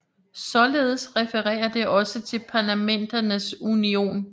Således referer det også til Parlamenterns Union